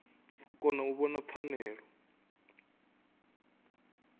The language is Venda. u kona u vhona pfanelo